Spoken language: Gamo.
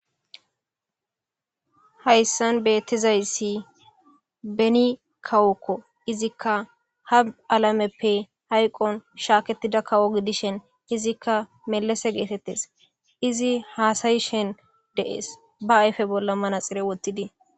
Hayssan beettizayssi beni kawokko izikka ha alameppe hayqon shaakettida kawo gidishen izikka melese geetettes izi haasayishen de7ees ba ayfe bolla manaxire wottidi.